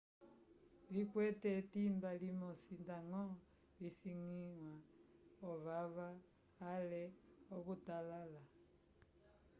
vikwete etimba limosi ndañgo visangiwa ovava ale akutalala